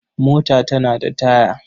Mota tana da taya.